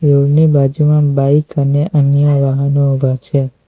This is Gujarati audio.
ની બાજુમાં બાઇક અને અન્ય વાહનો ઉભા છે.